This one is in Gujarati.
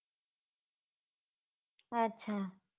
અચ્છા